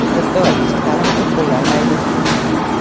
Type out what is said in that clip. Sirtqi va kechki taʼlim uchun qo‘llanmaydi;.